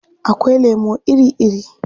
Akwai lemo iri-iri.